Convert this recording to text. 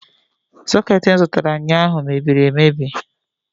Soketi m zụtara ụnyaahụ mebiri emebi